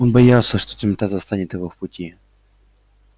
он боялся что темнота застанет его в пути